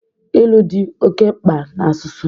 Ilu dị oke mkpa na asụsụ